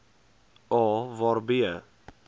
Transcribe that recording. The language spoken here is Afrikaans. a waar b